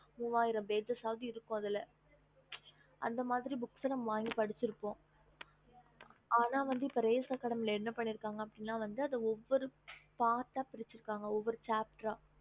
மூவாயிரம் pages இருக்கும் அதல அந்தமாரி books நம்ப வாங்கி படிச்சி இருப்போம் yes mam அனா வந்து இப்போ ரேஷன் கடியல வந்து என்ன பண்ணி இருக்கானா ஒவ்வொரு part அஹ் பிரிச்சி இருக்காங்க